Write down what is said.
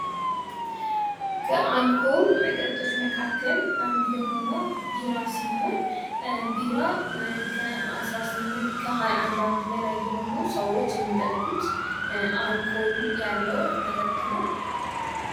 ከአልኮል መጠጦች መካከል አንዱ የሆነው ቢራ ሲሆን ቢራ ከሃያአንድ ዓመት በላይ የሆኑ ሰዎች የሚጠጡት አልኮል ያለው መጠጥ ነው።